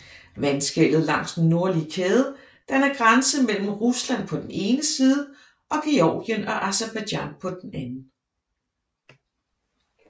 Vandskellet langs den nordlige kæde danner grænse mellem Rusland på den ene side og Georgien og Aserbajdsjan på den anden